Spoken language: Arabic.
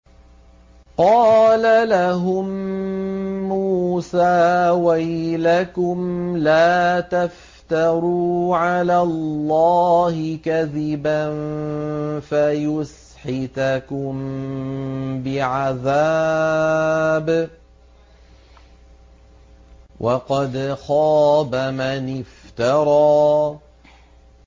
قَالَ لَهُم مُّوسَىٰ وَيْلَكُمْ لَا تَفْتَرُوا عَلَى اللَّهِ كَذِبًا فَيُسْحِتَكُم بِعَذَابٍ ۖ وَقَدْ خَابَ مَنِ افْتَرَىٰ